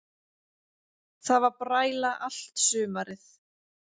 Það var bræla allt sumarið.